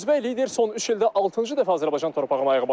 Özbək lider son üç ildə altıncı dəfə Azərbaycan torpağına ayaq basır.